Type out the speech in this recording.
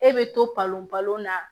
E bɛ to palon balon na